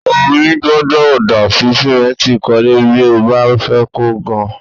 Omi ò gbọ́dọ̀ dà sí sìmẹ́ǹtì ìkọ́lé bí a ò bá fẹ́ kó gan